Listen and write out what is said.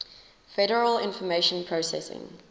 federal information processing